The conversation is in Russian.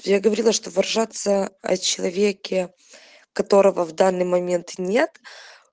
я говорила что выражаться о человеке которого в данный момент нет